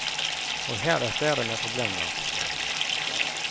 Og her er flere med problemer.